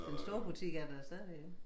Den store butik er der stadigvæk ikke?